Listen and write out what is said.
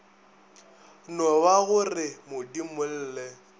no ba go re modimolle